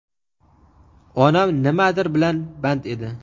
Onam nimadir bilan band edi.